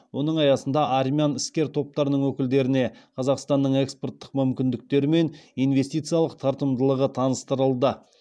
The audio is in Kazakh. оның аясында армян іскер топтарының өкілдеріне қазақстанның экспорттық мүмкіндіктері мен инвестициялық тартымдылығы таныстырылды